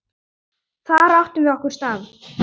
Þar áttum við okkar stað.